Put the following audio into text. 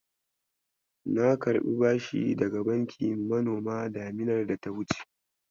Na karɓi bashi daga bankin manoma daminar data wuce.